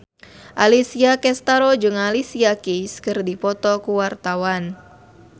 Alessia Cestaro jeung Alicia Keys keur dipoto ku wartawan